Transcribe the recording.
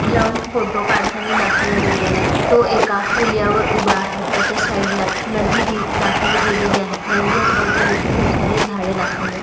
लावून फोटो काढताना दाखवला गेलेला आहे तो एका पूल्यावर उभा आहे त्याच्या साइडला नदी दी दाखवले गेलेली आहे नदीच्या अवती-भवती खूपसारे झाडे दाखवले आहे.